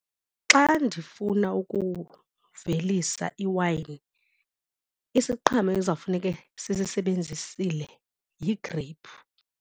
Xa ndifuna ukuvelisa iwayini isiqhamo ezawufuneke sisisebenzisile yigreyiphu.